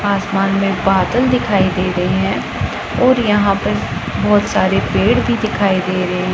आसमान में बादल दिखाई दे रहे हैं और यहां पे बहोत सारे पेड़ भी दिखाई दे रहे--